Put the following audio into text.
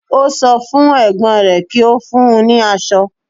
Ó sọ fún Ẹ̀gbọ́n rẹ̀ kí ó fún un ní asọ